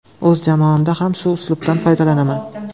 O‘z jamoamda ham shu uslubdan foydalanaman.